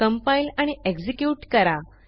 compile आणि execute करा